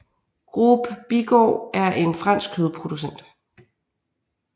Groupe Bigard er en fransk kødproducent